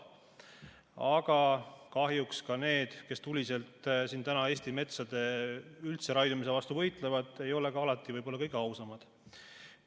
Aga kahjuks ka need, kes tuliselt siin täna üldse Eesti metsade raiumise vastu võitlevad, ei ole ka alati võib-olla kõige ausamad.